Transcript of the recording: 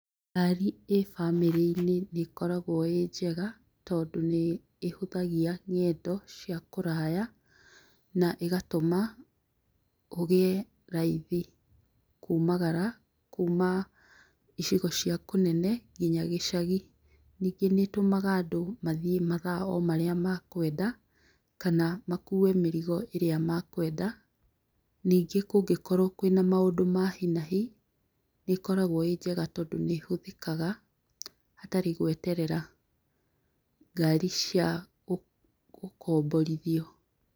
Ngari ĩbamĩrĩrĩ-inĩ nĩkoragwo ĩnjega tondũ nĩĩhũthagia ng'endo cia kũraya na ĩgatũma ũgĩe raithi kumagara kuma icigo cia kũnene nginya gĩcagi. Nyingĩ nĩtũmaga andũ mathiĩ mathaa omarĩa makwenda kana makue mĩrigo ĩrĩa makwenda. Nyingĩ kũngĩkorwo kũĩna maũndũ ma hinahi nĩĩkoragwo ĩnjega tondũ nĩhũthĩkaga hatarĩ gweterera ngari cia gũkomborithio.